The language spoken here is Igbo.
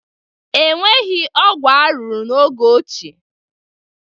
E nweghị ọgwụ arụrụ n'oge ochie